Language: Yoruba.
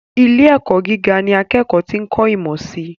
Ilé - ẹ̀kọ́ gíga ní akẹ́kọ̀ọ́ ti ń kọ̀ ìmọ̀ sii